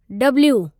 W